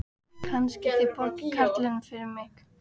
Kannski þið borgið karlinum fyrir mig.